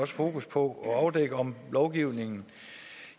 fokus på at afdække om lovgivningen